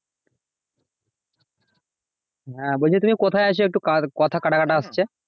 হ্যাঁ বলছি তুমি কোথায় আছো? একটু কথা কাটা কাটা আসছে?